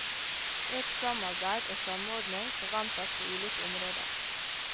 Økt samarbeid og samordning forventes på ulike områder.